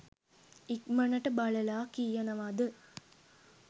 ඉක්මනට බලලා කියනවද